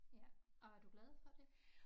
Ja og er du glad for det?